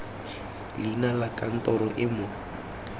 leina la kantoro e mo